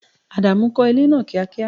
Ádámù kò ilé náà kíá kíá!